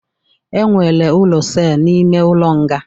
E nwere ụlọ sel n'ime ụlọ nga